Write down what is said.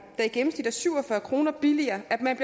der i gennemsnit er syv og fyrre kroner billigere at man